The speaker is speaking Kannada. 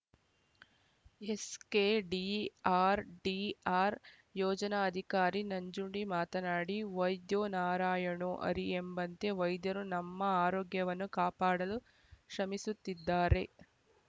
ಎಸ್‌ಕೆಡಿಆರ್‌ಡಿಆರ್‌ ಯೋಜನಾಧಿಕಾರಿ ನಂಜುಂಡಿ ಮಾತನಾಡಿ ವೈದ್ಯೋ ನಾರಾಯಣೋ ಹರಿ ಎಂಬಂತೆ ವೈದ್ಯರು ನಮ್ಮ ಆರೋಗ್ಯವನ್ನು ಕಾಪಾಡಲು ಶ್ರಮಿಸುತ್ತಿದ್ದಾರೆ